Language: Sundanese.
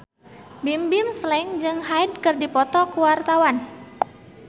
Bimbim Slank jeung Hyde keur dipoto ku wartawan